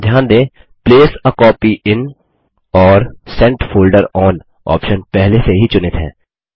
ध्यान दें place a copy in और सेंट फोल्डर ओन ऑप्शन पहले से ही चुनित हैं